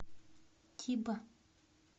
тиба